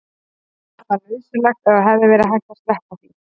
var það nauðsynlegt eða hefði verið hægt að sleppa því